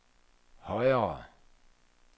højere